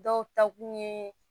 Dɔw ta kun ye